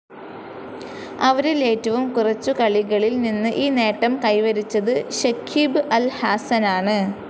അവരിൽ ഏറ്റവും കുറച്ചു കളികളിൽ നിന്ന് ഈ നേട്ടം കൈവരിച്ചത് ഷക്കീബ് അൽ ഹാസനാണ്.